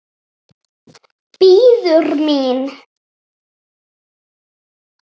Bíður mín.